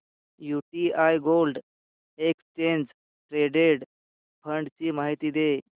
UTI gold exchange traded fund ची माहिती दे